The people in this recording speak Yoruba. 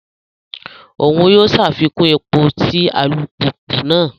Oun yóò ṣàfikún èpò ti alupupu náà